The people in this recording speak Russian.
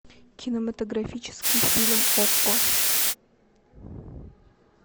кинематографический фильм окко